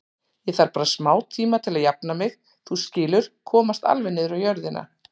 Ég þarf bara smátíma til að jafna mig, þú skilur, komast alveg niður á jörðina.